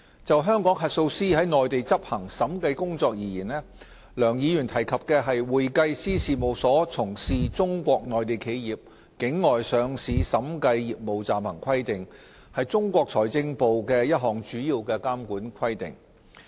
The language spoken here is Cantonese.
就香港核數師在內地執行審計工作而言，梁議員提及的《會計師事務所從事中國內地企業境外上市審計業務暫行規定》是中國財政部的一項主要監管規定。